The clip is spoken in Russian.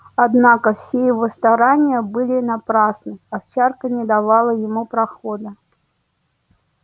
однако все его старания были напрасны овчарка не давала ему проходу